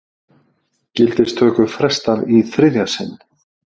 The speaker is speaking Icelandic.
Gildistöku frestað í þriðja sinn